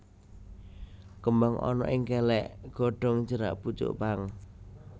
Kembang ana ing kèlèk godhong cerak pucuk pang